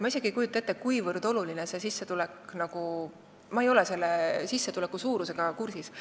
Ma ei kujuta isegi ette, kuivõrd oluline see sissetulek on, ma ei ole selle suurusega kursis.